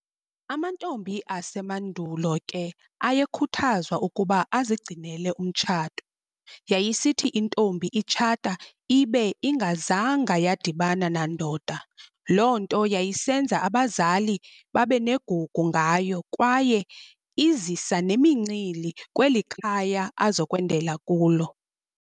Amantombi asemadulo ke aye khuthazwa ukuba azigcinele umtshato, yayisithi intombi itshata ibe ingazanga yadibana nandoda, loo nto yayisenza abazali babenegugu ngayo kwaye izisa nemincili kweli- khaya azokwendela kulo.